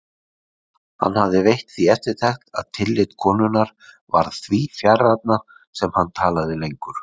Hann hafði veitt því eftirtekt að tillit konunnar varð því fjarrænna sem hann talaði lengur.